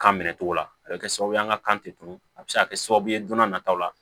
Kan minɛ togo la a bɛ kɛ sababu ye an ka kan tɛ tunun a bɛ se ka kɛ sababu ye don n'a nataw la